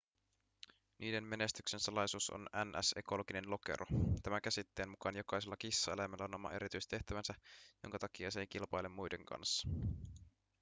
niiden menestyksen salaisuus on ns ekologinen lokero tämä käsitteen mukaan jokaisella kissaeläimellä on oma erityistehtävänsä jonka takia se ei kilpaile muiden kanssa